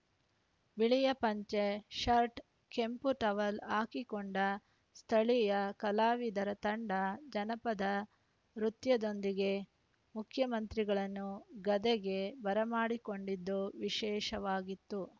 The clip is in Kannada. ಬಿಳಿಯ ಪಂಚೆ ಶರ್ಟ್‌ ಕೆಂಪು ಟವಲ ಹಾಕಿಕೊಂಡ ಸ್ಥಳೀಯ ಕಲಾವಿದರ ತಂಡ ಜನಪದ ನೃತ್ಯದೊಂದಿಗೆ ಮುಖ್ಯಮಂತ್ರಿಗಳನ್ನು ಗದೆಗೆ ಬರಮಾಡಿಕೊಂಡಿದ್ದು ವಿಶೇಷವಾಗಿತ್ತು